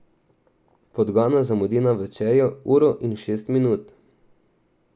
Podgana zamudi na večerjo uro in šest minut.